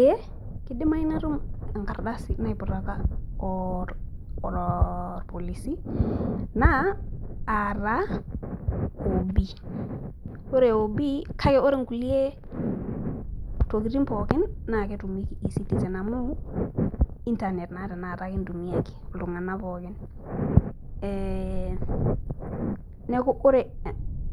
ee kidimayu natum enkardasi naiputaka olpolisi, naa aa taa OB ore OB kake ore nkulie tokitin pookin naa ketumieki e-citezen amu, internet naa tenakata kintumia iltungank pookin.ee neeku ore